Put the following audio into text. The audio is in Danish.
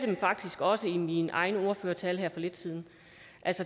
det faktisk også i min egen ordførertale her for lidt siden